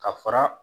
Ka fara